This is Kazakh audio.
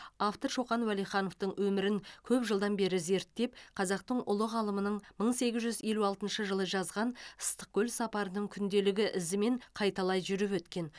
автор шоқан уәлихановтың өмірін көп жылдан бері зерттеп қазақтың ұлы ғалымының мың сегіз жүз елу алтыншы жылы жазғаныстықкөл сапарының күнделігі ізімен қайталай жүріп өткен